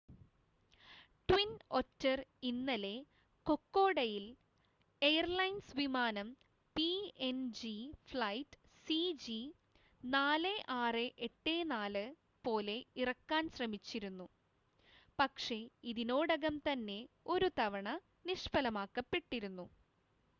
twin Otter ഇന്നലെ കൊക്കോഡയിൽ airlines വിമാനം പിഎൻജി ഫ്ലൈറ്റ് സിജി4684 പോലെ ഇറക്കാൻ ശ്രമിച്ചിരുന്നു പക്ഷേ ഇതിനോടകം തന്നെ ഒരുതവണ നിഷ്‌ഫലമാക്കപ്പെട്ടിരുന്നു